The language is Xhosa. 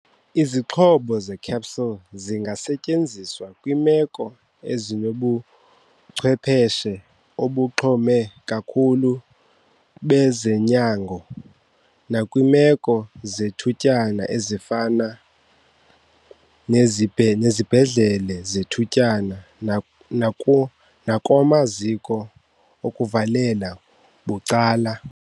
Isixhobo se-CPAP singasetyenziswa kwiimeko ezinobuchwepheshe obuxhome kakhulu bezonyango nakwiimeko zethutyana, ezifana nezibhedlele zethutyana nakumaziko okuvalela bucala.